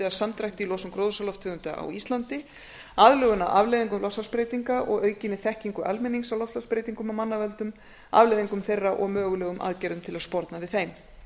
að samdrætti í losun gróðurhúsalofttegunda á íslandi aðlögun að afleiðingum loftslagsbreytinga og aukinni þekkingu almennings á loftslagsbreytingum af manna völdum afleiðingum þeirra og mögulegum aðgerðum til að sporna við þeim